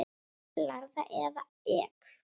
Blaðra eða Ek?